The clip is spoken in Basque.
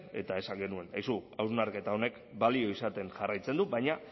eta esan genuen hausnarketa honek balio izaten jarraitzen du baina